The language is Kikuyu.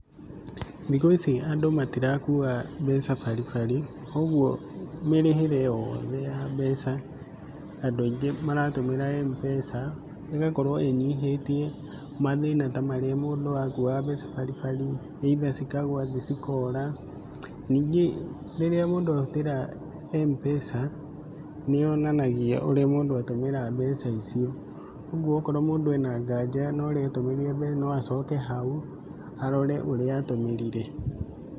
Thikũ ici andũ matirakua mbeca baribari koguo mĩrĩhĩre yothe ya mbeca, andũ aingĩ maratũmĩra M-Pesa, ĩgakorwo ĩnyihĩtie mathĩna ta marĩa mũndũ akuaga mbeca baribari either cikagwa thĩ cikora. Ningi rĩrĩa mũndũ ahũthĩra M-Pesa nĩ yonanagia ũrĩa mũndũ atũmĩra mbeca icio. Ũguo okorwo mũndũ ena nganja ũrĩa atumĩrire no acoke hau arore ũrĩa atũmĩrire.